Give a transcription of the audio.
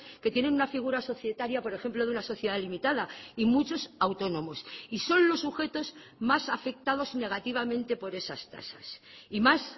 que tienen una figura societaria por ejemplo de una sociedad limitada y muchos autónomos y son los sujetos más afectados negativamente por esas tasas y más